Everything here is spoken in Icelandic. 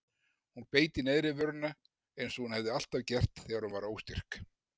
Hún beit í neðri vörina eins og hún hafði alltaf gert þegar hún var óstyrk.